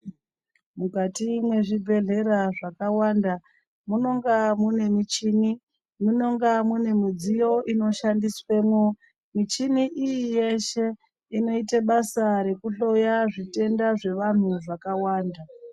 Mukati mwezvibhehlera zvakawanda munonga mune michini ,munonga mune midziyo inoshandiswemwo, michini iyi yeshe inoita basa rekuhloya zvitenda zvevanhu zvakawanda.